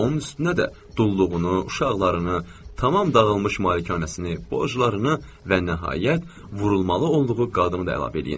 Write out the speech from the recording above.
Onun üstünə də dulluğunu, uşaqlarını, tamam dağılmış malikanəsini, borclarını və nəhayət vurulmalı olduğu qadını da əlavə edin.